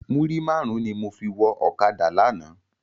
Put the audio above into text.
Múrí márùn ni mó fi wò òkádá làná